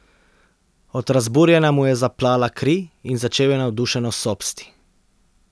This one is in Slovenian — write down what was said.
Od razburjenja mu je zaplala kri in začel je navdušeno sopsti.